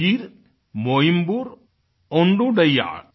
उयिर् मोइम्बुर ओंद्दुडैयाळ